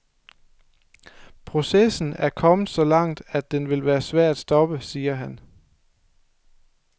Processen er kommet så langt, at den vil være svær at stoppe, siger han.